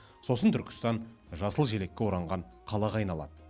сосын түркістан жасыл желекке оранған қалаға айналады